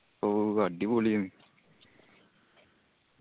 ഊ അടിപൊളി ആയ്ർന്